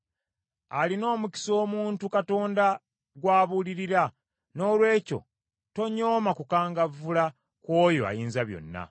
“Alina omukisa omuntu Katonda gw’abuulirira; noolwekyo tonyooma kukangavvula kw’oyo Ayinzabyonna.